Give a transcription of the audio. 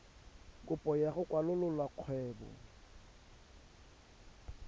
kopo ya go kwalolola kgwebo